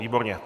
Výborně.